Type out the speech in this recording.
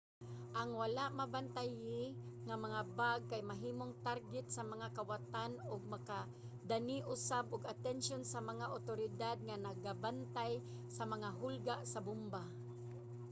ang wala mabantayi nga mga bag kay mahimong target sa mga kawatan ug makadani usab og atensyon sa mga awtoridad nga nagabantay sa mga hulga sa bomba